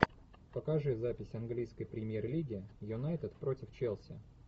покажи запись английской премьер лиги юнайтед против челси